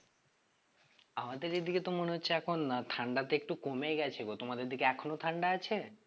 আমাদের এদিকে তো মনে হচ্ছে এখন ঠান্ডা তো একটু কমে গেছে গো তোমাদের দিকে এখনো ঠান্ডা আছে?